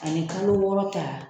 Ani kalo wɔɔrɔ ta